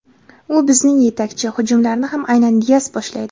U bizning yetakchi, hujumlarni ham aynan Dias boshlaydi.